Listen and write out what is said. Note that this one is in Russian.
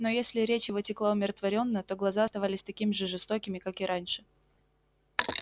но если речь его текла умиротворённо то глаза оставались такими же жестокими как и раньше